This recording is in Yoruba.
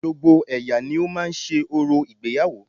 Gbogbo ẹ̀yà ni ó máa ń ṣe orò ìgbéyàwó